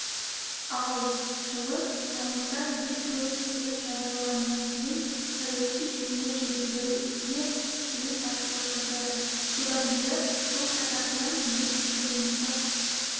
ал жылы тамызда ел тәуелсіздігін жариялағаннан кейін саяси жүйені жетілдіру ісіне тікелей басшылық жасады содан бері жыл қатарынан ел тізгінін ұстап